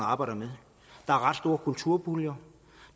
arbejder med der er ret store kulturpuljer